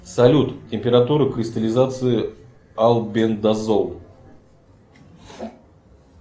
салют температура кристаллизации альбендазол